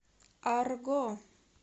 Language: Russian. арго